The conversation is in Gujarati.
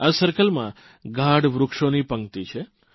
આ સર્કલમાં ગાઢ વૃક્ષોની પંકિત છે